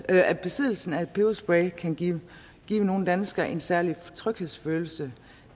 at besiddelsen af en peberspray kan give nogle danskere en særlig tryghedsfølelse